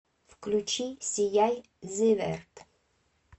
включи сияй зиверт